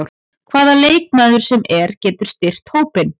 Hvaða leikmaður sem er getur styrkt hópinn.